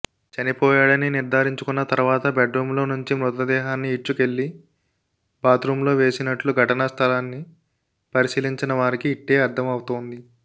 చనిపోయాడని నిర్ధారించుకున్న తర్వాత బెడ్రూమ్లో నుంచి మృతదేహాన్ని ఈడ్చుకెళ్లి బాత్రూమ్లో వేసినట్లు ఘటనా స్థలాన్ని పరిశీలించిన వారికి ఇట్టే అర్థవౌతోంది